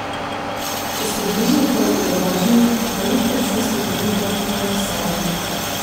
Čez približno pol ure vožnje Malik taksistu pomigne, naj ustavi.